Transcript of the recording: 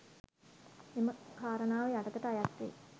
මෙම කාරණාව යටතට අයත් වේ